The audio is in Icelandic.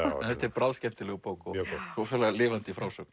þetta er bráðskemmtileg bók og rosalega lifandi frásögn